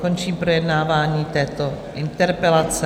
Končím projednávání této interpelace.